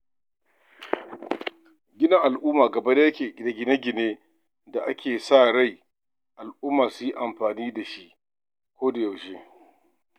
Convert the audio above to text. Gina al'umma gaba yake da gine-gine da ake sa ran al'umma su yi amfani da su a koda yaushe.